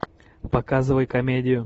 показывай комедию